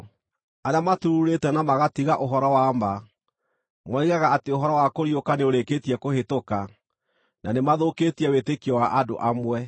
arĩa maturuurĩte na magatiga ũhoro wa ma. Moigaga atĩ ũhoro wa kũriũka nĩũrĩkĩtie kũhĩtũka, na nĩ mathũkĩtie wĩtĩkio wa andũ amwe.